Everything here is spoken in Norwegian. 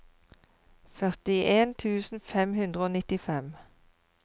førtien tusen fem hundre og nittifem